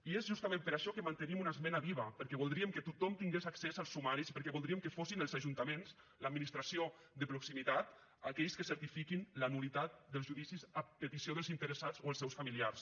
i és justament per això que mantenim una esmena viva perquè voldríem que tothom tingués accés als sumaris i perquè voldríem que fossin els ajuntaments l’administració de proximitat aquells que certifiquin la nul·litat dels judicis a petició dels interessats o els seus familiars